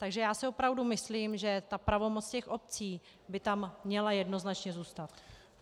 Takže já si opravdu myslím, že ta pravomoc těch obcí by tam měla jednoznačně zůstat.